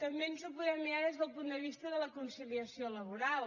també ens ho podem mirar des del punt de vista de la conciliació laboral